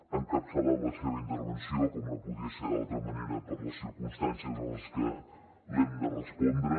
ha encapçalat la seva intervenció com no podia ser d’altra manera per les circumstàncies en les que l’hem de respondre